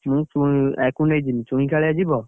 ମୁଁ ଆକୁ ନେଇଯିବି। ଚୁଇଁ, କାଳିଆ ଯିବ?